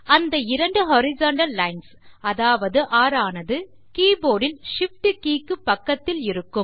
அந்த இரண்டு horizontal lines அதாவது ஒர் ஆனது keyboardல் shift கே க்குப் பக்கத்தில் இருக்கும்